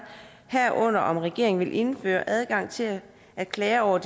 herunder om regeringen vil indføre adgang til at klager over